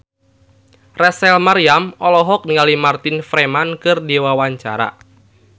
Rachel Maryam olohok ningali Martin Freeman keur diwawancara